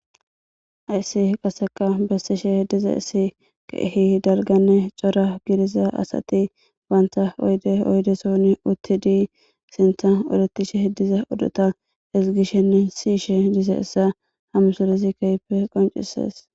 ayssi qaseka bessishe diza issi keehi dalganne cora gidiza asati baanta oyde oydeson utti dii sintha odetishe heddiza odhota esgishenne siishe dise issa hamusolizi kaype qoncises